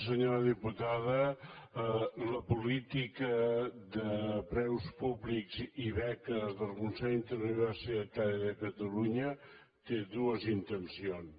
senyora diputada la política de preus públics i beques del consell interuniversitari de catalunya té dues intencions